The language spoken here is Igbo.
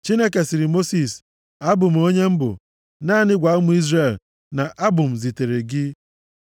Chineke sịrị Mosis, “ABỤ M ONYE M BỤ. Naanị gwa ụmụ Izrel na ‘ABỤ M zitere gị.’ ”